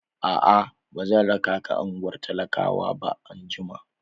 A'a, ba zan raka ka ungwar talakawa anjima ba.